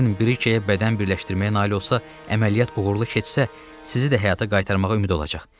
Kern brikəyə bədən birləşdirməyə nail olsa, əməliyyat uğurlu keçsə, sizi də həyata qaytarmağa ümid olacaq.